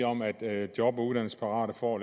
om at job og uddannelsesparate får